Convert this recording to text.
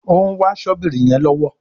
òún wá Ṣọ́bìrì yén lọwọ